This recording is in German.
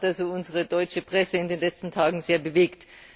Das hat unsere deutsche Presse in den letzten Tagen sehr bewegt.